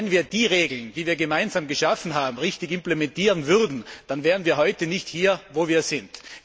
Nur wenn wir die Regeln, die wir gemeinsam geschaffen haben, richtig implementieren würden, dann wären wir heute nicht hier, wo wir sind.